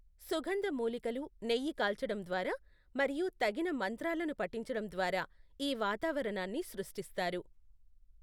సుగంధ మూలికలు, నెయ్యి కాల్చడం ద్వారా మరియు తగిన మంత్రాలను పఠించడం ద్వారా ఈ వాతావరణాన్ని సృష్టిస్తారు.